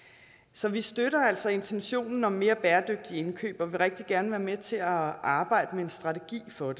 så vi støtter altså intentionen om mere bæredygtigt indkøb og vil rigtig gerne være med til at arbejde med en strategi for